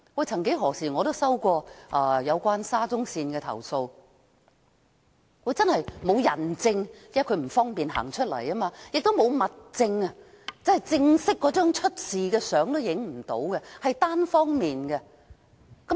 曾幾何時我也收到有關沙中線的投訴，沒有人證，因為證人不方便站出來指證；亦沒有物證，因未能拍攝事發時的正式照片，是單方面的指控。